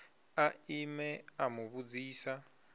a ime a mu vhudzisa